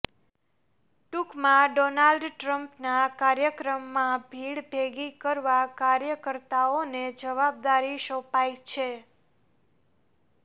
ટૂંકમાં ડોનાલ્ડ ટ્રમ્પના કાર્યક્રમમાં ભીડ ભેગી કરવા કાર્યકર્તાઓને જવાબદારી સોંપાઈ છે